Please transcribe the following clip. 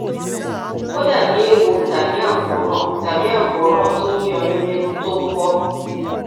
ó dàbí eéwo tàbí àkóràn tàbí àkóràn tó ní ọyún nínú tó ń bọ